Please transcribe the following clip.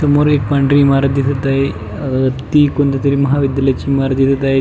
समोर एक पांढरी इमारत दिसत आहे अह ती कोणत्या तरी महाविद्यालायची इमारत दिसत आहे.